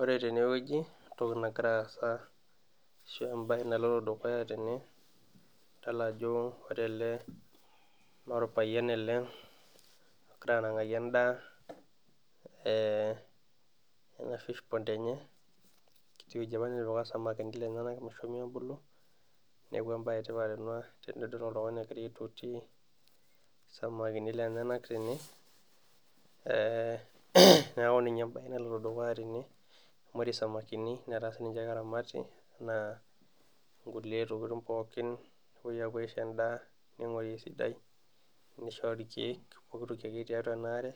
ore tene wueji entoki nagira aasa. ashu ebae naloito dukya tene, idol ajo ore ele naa orpayian ele ogira anang'aki edaa ena fish pond enye. enkiti wueji apa natipika isamakini lenyenak meshomo abulu. neeku ebae etipat ena tenidol oltungani egora aitoti isamakini lenyenak tene.ee neeku ninye ebae naloito dukuya tene. amu ore samakini netaa sii ninche keramati naa nkulie tokitin pookin nepuoi apuo aisho edaa, ning'uari esidai, nishori irkeek pooki toki akeyie tiatua ena are.